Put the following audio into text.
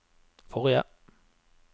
forrige